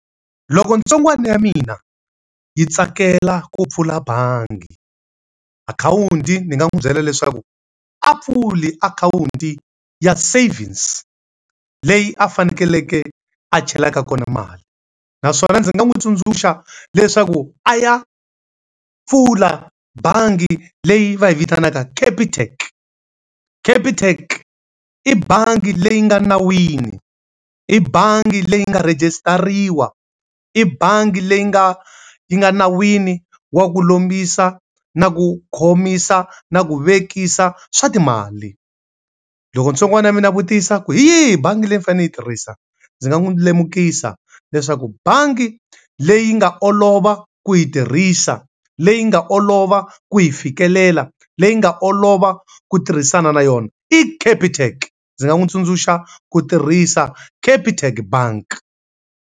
Loko ntsongwana ya mina yi tsakela ku pfula bangi akhawunti ndzi nga n'wi byela leswaku a pfula akhawunti ya savings leyi a faneleke a chelaka kona mali. Naswona ndzi nga n'wi tsundzuxa leswaku a ya pfula bangi leyi va yi vitanaka Capitec. Capitec i bangi leyi nga nawini, i bangi leyi nga rejistariwa, i bangi leyi nga yi nga nawini wa ku lombisa, na ku khomisa, na ku vekisa swa timali. Loko ntsongwana ya mina a vutisa ku hi yihi bangi leyi ni fanele ni yi tirhisa? Ndzi nga n'wi lemukisa leswaku bangi leyi nga olova ku yi tirhisa, leyi nga olova ku yi fikelela, leyi nga olova ku tirhisana na yona, i Capitec. Ndzi nga n'wi tsundzuxa ku tirhisa Capitec bank.